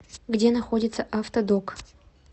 где находится автодок